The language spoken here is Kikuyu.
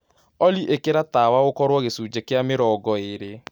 olly ikĩra tawaũkorwo gĩcũnjĩ gia mĩrongoĩrĩ